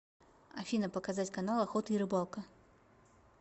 афина показать канал охота и рыбалка